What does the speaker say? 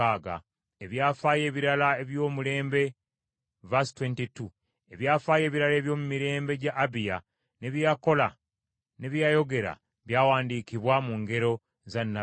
Ebyafaayo ebirala ebyomumirembe gya Abiya, ne bye yakola ne bye yayogera, byawandiikibwa mu ngero za nnabbi Iddo.